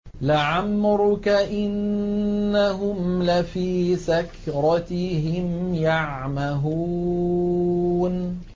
لَعَمْرُكَ إِنَّهُمْ لَفِي سَكْرَتِهِمْ يَعْمَهُونَ